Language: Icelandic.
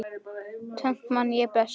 Tvennt man ég best.